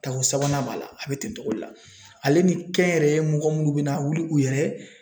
Tako sabanan b'a la a bɛ ten cogo de la ale ni kɛnyɛrɛye mɔgɔ minnu bɛna wuli u yɛrɛ